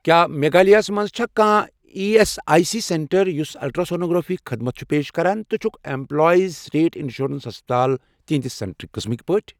کیٛاہ میگھالِیا ہس مَنٛز چھا کانٛہہ E S I C centre یُس الٹرٛاسونوگرافی خدمت چھُ پیش کران تہٕ چھُکھ ایٚمپلایِزسٕٹیٹ اِنشورَنس ہسپَتال تِہنٛدِ سینٹر قٕسمٕک پٲٹھۍ؟